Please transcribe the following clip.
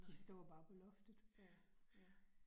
Nej, ja ja